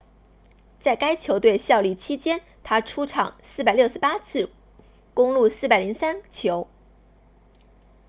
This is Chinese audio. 在该球队效力期间他出场468次攻入403球